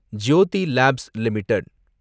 Jothi Labs limited